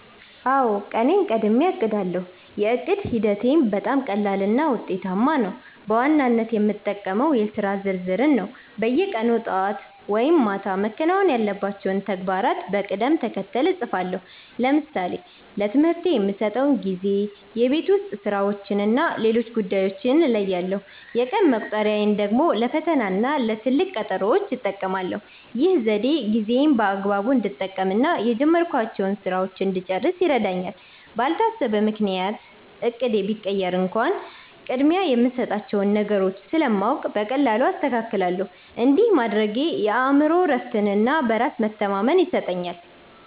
አውዎ፣ ቀኔን ቀድሜ አቅዳለው። የዕቅድ ሂደቴም በጣም ቀላልና ውጤታማ ነው። በዋናነት የምጠቀመው የሥራ ዝርዝርን ነው። በየቀኑ ጠዋት ወይም ማታ መከናወን ያለባቸውን ተግባራት በቅደም ተከተል እጽፋለሁ። ለምሳሌ ለትምህርቴ የምሰጠውን ጊዜ፣ የቤት ውስጥ ሥራዎችንና ሌሎች ጉዳዮችን እለያለሁ። የቀን መቁጠሪያን ደግሞ ለፈተናና ለትልቅ ቀጠሮዎች እጠቀማለሁ። ይህ ዘዴ ጊዜዬን በአግባቡ እንድጠቀምና የጀመርኳቸውን ሥራዎች እንድጨርስ ይረዳኛል። ባልታሰበ ምክንያት እቅዴ ቢቀየር እንኳን፣ ቅድሚያ የምሰጣቸውን ነገሮች ስለማውቅ በቀላሉ አስተካክላለሁ። እንዲህ ማድረጌ የአእምሮ እረፍትና በራስ መተማመን ይሰጠኛል።